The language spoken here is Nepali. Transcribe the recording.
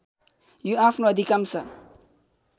यो आफ्नो अधिकांश